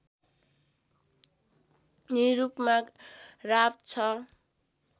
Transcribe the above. Nirupama Rao ६